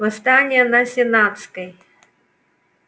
восстание на сенатской